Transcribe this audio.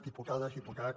diputades diputats